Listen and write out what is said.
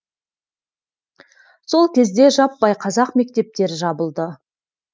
сол кезде жаппай қазақ мектептері жабылды